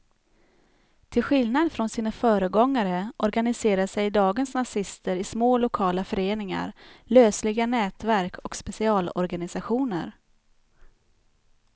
Till skillnad från sina föregångare organiserar sig dagens nazister i små lokala föreningar, lösliga nätverk och specialorganisationer.